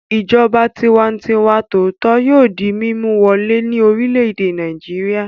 Ìjọba tiwantiwa tòótọ́ yóò di mímú wọlé ní orílẹ̀-èdè Nàìjíríà.